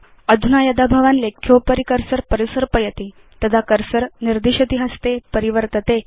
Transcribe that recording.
अधुना यदा भवान् लेख्योपरि कर्सर परिसर्पयति तदा कर्सर निर्दिशति हस्ते परिवर्तते